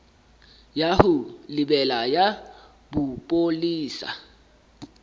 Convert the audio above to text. ya ho lebela ya bopolesa